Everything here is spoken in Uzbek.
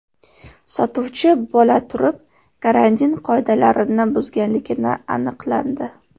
sotuvchi bo‘la turib, karantin qoidalarini buzganligi aniqlandi.